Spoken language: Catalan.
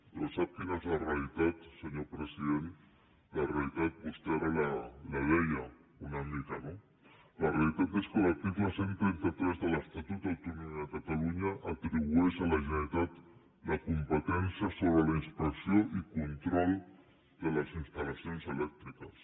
però sap quina és la realitat senyor president la realitat vostè ara la deia una mica no la realitat és que l’article cent i trenta tres de l’estatut d’autonomia de catalunya atribueix a la generalitat la competència sobre la inspecció i control de les instal·lacions elèctriques